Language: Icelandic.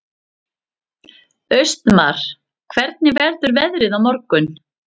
Austmar, hvernig verður veðrið á morgun?